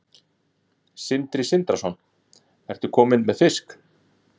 Sindri Sindrason: Ertu kominn með fisk?